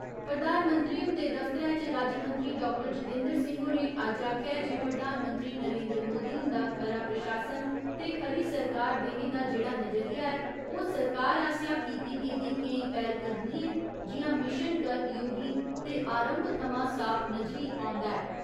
प्रधानमंत्री हुंदे दफ्तरै च राज्यमंत्री डाक्टर जीतेन्द्र सिंह होरें अज्ज आखेआ ऐ जे प्रधानमंत्री नरेन्द्र मोदी हुंदा खरा प्रशासन ते खरी सरकार देने दा जेहड़ा नजरिया ऐ ओह् सरकार आसेआ कीती गेदी केई पैह्‌लकदमियें जियां मिशन कर्मयोगी ते आरंभ थमां साफ नजरी औंदा ऐ।